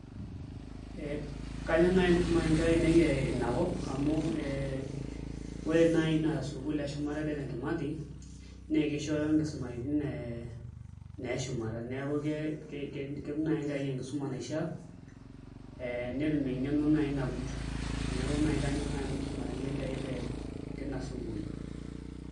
Kayieu naai nisumare nkera ainei ina kop amu ore naai ina sukuul eshumata e Dedan Kimathi nss kishooyo nkisumaitin naa eshumata neeku ketum naai enkerai enkisuma naishiaa ee netum eng'eno naai nagut neeku naai kanyorr nanu naai misumayu enkerai te tina sukuul.